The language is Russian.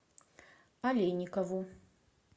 олейникову